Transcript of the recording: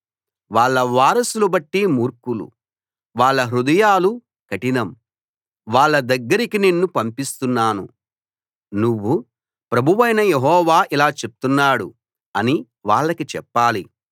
వాళ్ళ వారసులు ఒట్టి మూర్ఖులు వాళ్ళ హృదయాలు కఠినం వాళ్ళ దగ్గరకి నిన్ను పంపిస్తున్నాను నువ్వు ప్రభువైన యెహోవా ఇలా చెప్తున్నాడు అని వాళ్ళకి చెప్పాలి